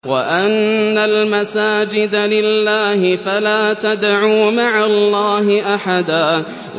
وَأَنَّ الْمَسَاجِدَ لِلَّهِ فَلَا تَدْعُوا مَعَ اللَّهِ أَحَدًا